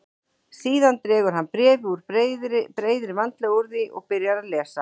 Síðan dregur hann bréfið út, breiðir vandlega úr því og byrjar að lesa.